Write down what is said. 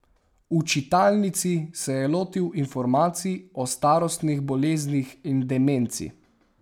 V čitalnici se je lotil informacij o starostnih boleznih in demenci.